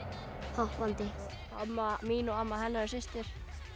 hoppandi amma mín og amma hennar eru systur